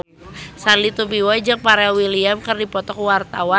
Sandy Tumiwa jeung Pharrell Williams keur dipoto ku wartawan